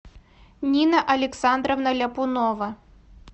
нина александровна ляпунова